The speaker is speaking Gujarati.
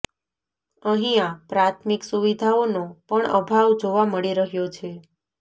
અહિંયા પ્રાથમિક સુવિધાઓનો પણ અભાવ જોવા મળી રહ્યો છે